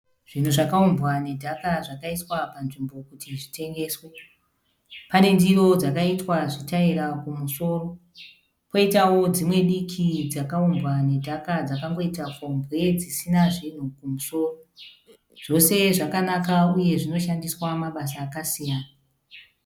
Zvinhu zvakaumbwa nedhaka zvakaiswa panzvimbo kuti zvitengeswe. Pane ndiro dzakaitwa zvitaira kumusoro, poitawo dzimwe diki dzakaumbwa nedhaka dzakangoita fombwe dzisina zvinhu kumusoro. Zvose zvakanakawo uye zvinoshandiswa mabasa akasiyana.